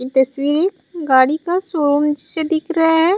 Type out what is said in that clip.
ये तस्वीर है गाड़ी का शोरूम से दिख रहे है।